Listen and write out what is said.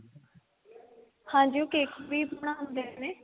ਹਾਂਜੀ ਉਹ cake ਵੀ ਬਣਾਉਂਦੇ ਨੇ